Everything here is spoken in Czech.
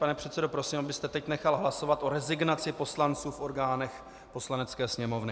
Pane předsedo, prosím, abyste teď nechal hlasovat o rezignaci poslanců v orgánech Poslanecké sněmovny.